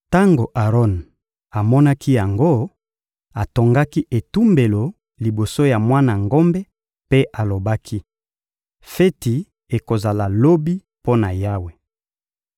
Tango Aron amonaki yango, atongaki etumbelo liboso ya mwana ngombe mpe alobaki: — Feti ekozala lobi mpo na Yawe.